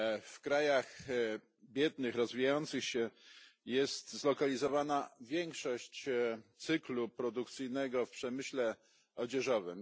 W krajach biednych, rozwijających się jest zlokalizowana większość cyklu produkcyjnego w przemyśle odzieżowym.